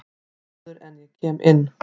Áður en að ég kem inn.